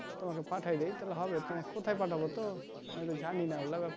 তোমাকে পাঠায় দি তাহলে হবে তোমার কোথায় পাঠাবো তো আমি তো না ওগোলা